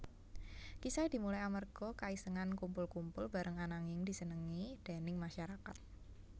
Kisahé dimulai amearga kaisengan kumpul kumpul bareng ananging disenengi déning masarakat